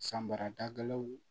San bara dabilaw